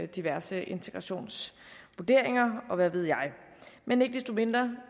diverse integrationsvurderinger og hvad ved jeg men ikke desto mindre